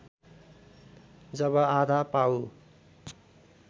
जब आधा पाउ